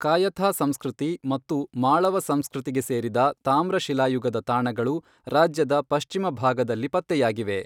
ಕಾಯಥಾ ಸಂಸ್ಕೃತಿ ಮತ್ತು ಮಾಳವ ಸಂಸ್ಕೃತಿಗೆ ಸೇರಿದ ತಾಮ್ರ ಶಿಲಾಯುಗದ ತಾಣಗಳು ರಾಜ್ಯದ ಪಶ್ಚಿಮ ಭಾಗದಲ್ಲಿ ಪತ್ತೆಯಾಗಿವೆ.